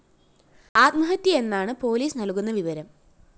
ആത്മഹത്യയെന്നാണ് police നല്‍കുന്ന വിവരം